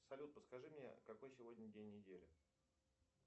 салют подскажи мне какой сегодня день недели